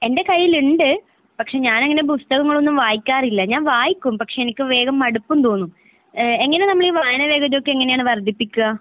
എന്റെ കയ്യിലുണ്ട്. പക്ഷെ ഞാൻ അങ്ങനെ പുസ്തകങ്ങളൊന്നും വായിക്കാറില്ല. ഞാൻ വായിക്കും പക്ഷെ എനിക്ക് വേഗം മടുപ്പും തോന്നും. ഏഹ് എങ്ങനെ നമ്മള് ഈ വായന വേഗതയൊക്കെ എങ്ങനെയാണ് വർധിപ്പിക്കാ?